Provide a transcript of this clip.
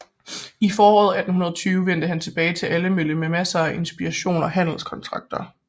I foråret 1820 vendte han tilbage til Ålemølle med masser af inspiration og handelskontakter